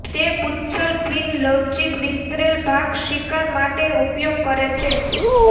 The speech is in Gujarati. તે પુચ્છલ ફિન લવચીક વિસ્તરેલ ભાગ શિકાર માટે ઉપયોગ કરે છે